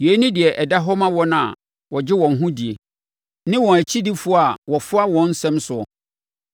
Yei ne deɛ ɛda hɔ ma wɔn a wɔgye wɔn ho die, ne wɔn akyidifoɔ a wɔfoa wɔn nsɛm soɔ.